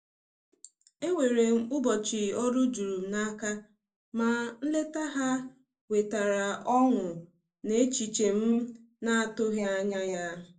Enwere m ụbọchị ọrụ jurum n'aka, ma nleta ha wetara ọṅụ na echiche m na-atụghị anya ya.